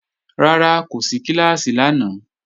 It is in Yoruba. Rárá, kò sí kíláàsì lánàá